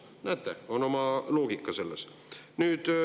Näete, selles on oma loogika.